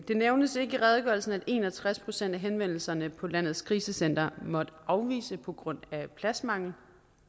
det nævnes ikke i redegørelsen at i en og tres procent af henvendelserne på landets krisecentre har måttet afvise på grund af pladsmangel